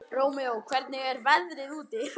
Rómeó, hvernig er veðrið úti?